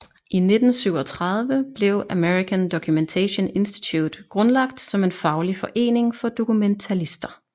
I 1937 blev American Documentation Institute grundlagt som en faglig forening for dokumentalister